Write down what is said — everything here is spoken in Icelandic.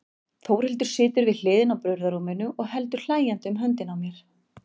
Þórhildur situr við hliðina á burðarrúminu og heldur hlæjandi um höndina á mér.